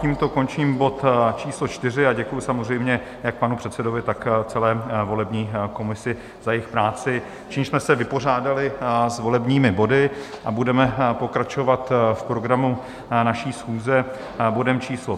Tímto končím bod číslo 4 a děkuji samozřejmě jak panu předsedovi, tak celé volební komisi za jejich práci, čímž jsme se vypořádali s volebními body a budeme pokračovat v programu naší schůze bodem číslo